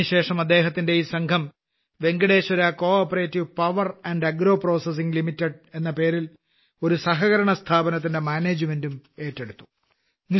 അതിനുശേഷം അദ്ദേഹത്തിന്റെ ഈ സംഘം Venkateshwara cooperative power and agro processing limited എന്ന പേരിൽ ഒരു സഹകരണസ്ഥാപനത്തിന്റെ മാനേജ്മെന്റും ഏറ്റെടുത്തു